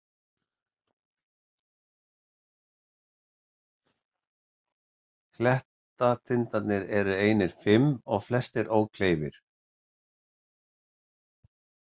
Klettatindarnir eru einir fimm og flestir ókleifir.